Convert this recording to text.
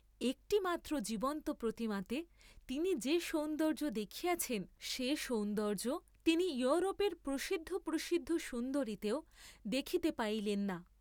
একটি মাত্র জীবন্ত প্রতিমাতে তিনি যে সৌন্দর্য্য দেখিয়াছেন সে সৌন্দর্য্য তিনি য়ুরোপের প্রসিদ্ধ প্রসিদ্ধ সুন্দরীতেও দেখিতে পাইলেন না।